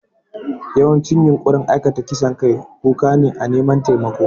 Yawancin yunƙurin aikata kisan kai kuka ne na neman taimako.